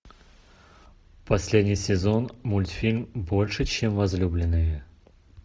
последний сезон мультфильм больше чем возлюбленные